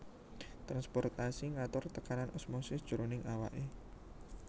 Transportasi ngatur tekanan osmosis jroning awake